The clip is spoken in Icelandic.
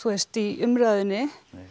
í umræðunni